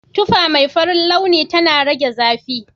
Tufa mai farin launi tana rage zafi.